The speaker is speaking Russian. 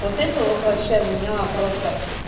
вот это вот вообще меня просто